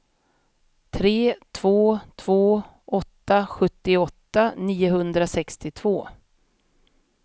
tre två två åtta sjuttioåtta niohundrasextiotvå